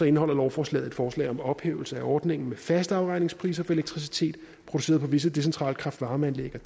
indeholder lovforslaget et forslag om ophævelse af ordningen med faste afregningspriser for elektricitet produceret på visse decentrale kraft varme anlæg og